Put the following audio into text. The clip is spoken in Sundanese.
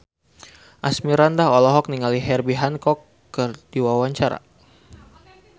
Asmirandah olohok ningali Herbie Hancock keur diwawancara